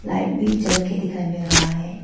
Light भी जल के दिखाई मिल रहा है।